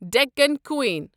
Deccan کوٗیٖن